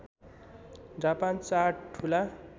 Japan चार ठूला